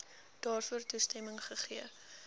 daarvoor toestemming gegee